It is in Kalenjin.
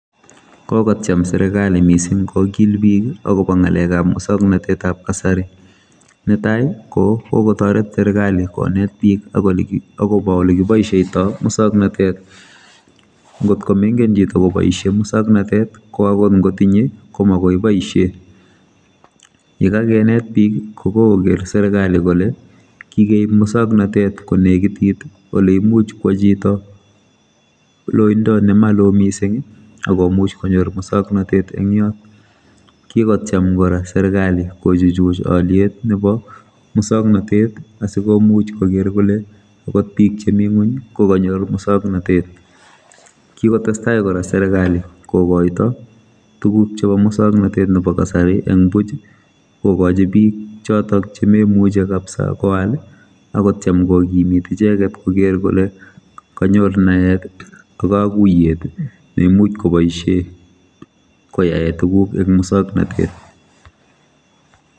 Kokotyem serikali mising kokil bik akobongalekab muswoknotetab kasari. Netai ko kokotoret serikali konet akobo bik olekiboisieitoi muswoknatet ngotko mengen chito koboisie muswoknotet koangot ngotinye komagoi boisie yekakinet bik kokokoker serikali kole kikeib muswoknotet konekitit ole imuch kwo chito loindo ne malo mising akomuch konyor muswoknatet eng yot kikotyem kora serikali kochuchuch oliet nebo muswoknatet sikomuch koker kole angot bik chemi ngony kokanyor muswoknatet kikotestai kora serikali kokoito tuguk chebo muswoknatet nebo kasari eng buch kokochi bik chotok chememuchi kapsa koal akotyem kokimit icheket koker kole kanyor naet ak kaguiyet neimuch koboisie koyae tuguk eng muswoknatet.